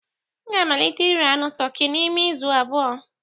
M ga-amalite ire anụ toki n'ime izu abụọ